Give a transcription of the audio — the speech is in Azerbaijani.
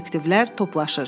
Detektivlər toplaşır.